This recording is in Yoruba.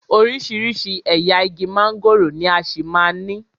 Oríṣiríṣi ẹ̀yà igi mángòrò ni a ṣì máa ní.